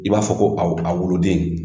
I b'a fɔ ko a wo a woloden.